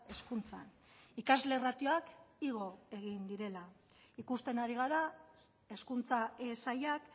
hezkuntzan ikasle ratioak igo egin direla ikusten ari gara hezkuntza sailak